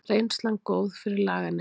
Reynslan góð fyrir laganema